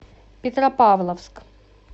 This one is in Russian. петропавловск